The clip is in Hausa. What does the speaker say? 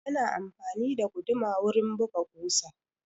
Ana amfani da guduma wurin buga ƙusa.